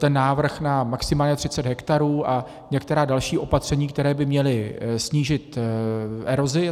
Ten návrh na maximálně 30 hektarů a některá další opatření, která by měla snížit erozi.